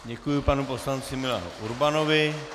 Děkuji panu poslanci Milanu Urbanovi.